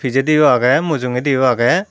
pijedi u agey mujungedi u agey.